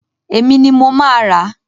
Èmi ni mo máa ràá.